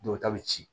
Dɔw ta bɛ ci